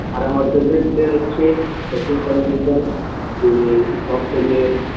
আর আমার favorite player হচ্ছে শচীন তেন্ডুলকর উনি সব থেকে